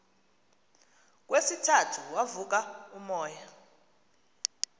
kwesithathu wavuka umoya